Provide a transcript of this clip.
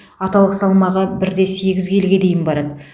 аталық салмағы бір де сегіз келіге дейін барады